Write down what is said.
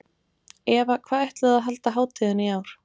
Eva, hvar ætlið þið að halda hátíðina í ár?